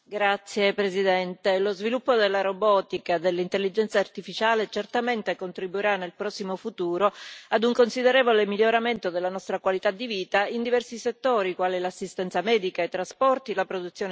Signora Presidente, onorevoli colleghi, lo sviluppo della robotica e dell'intelligenza artificiale certamente contribuirà nel prossimo futuro ad un considerevole miglioramento della nostra qualità di vita in diversi settori quali l'assistenza medica, i trasporti e la produzione industriale.